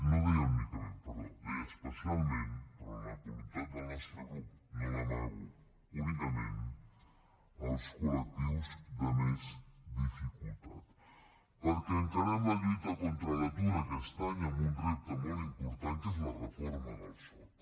no deia únicament perdó deia especialment però la voluntat del nostre grup no l’amago únicament als col·perquè encarem la lluita contra l’atur aquest any amb un repte molt important que és la reforma del soc